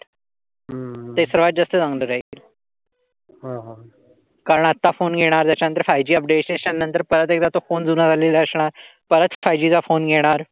कारण आत्ता फोन येणार. त्याच्यानंतर फायुजी अपडेट्स नंतर परत एकदा तो फोन जुना झालेला असणार. परत फायुजी चा फोन येणार.